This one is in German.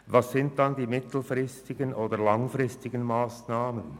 Welches sind dann die mittel- oder langfristigen Massnahmen?